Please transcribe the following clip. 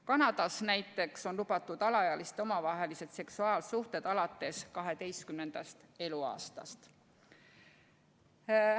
Kanadas näiteks on lubatud alaealiste omavahelised seksuaalsuhted alates 12. eluaastast.